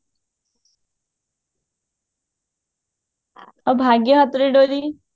ଆଉ ଭାଗ୍ୟ ହାତରେ ଡୋରୀ